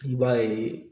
I b'a ye